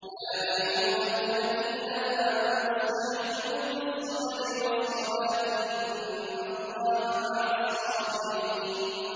يَا أَيُّهَا الَّذِينَ آمَنُوا اسْتَعِينُوا بِالصَّبْرِ وَالصَّلَاةِ ۚ إِنَّ اللَّهَ مَعَ الصَّابِرِينَ